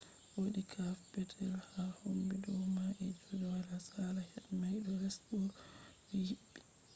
wodi cave petel ha kombi dau mai je dole a sala hedi mai ɗo les bo ɗo hiɓɓi